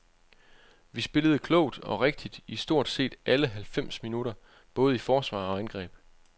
Vi spillede klogt og rigtigt i stort set alle halvfems minutter, både i forsvar og angreb.